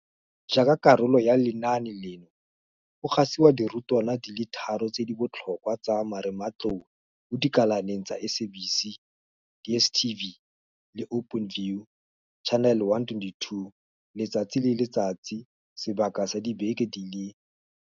Jaaka karolo ya lenaane leno, go gasiwa dirutwana di le thataro tse di botlhokwa tsa marematlou mo dikalaneng tsa SABC, DSTV le Openview Channel 122 letsatsi le letsatsi sebaka sa dibeke di le.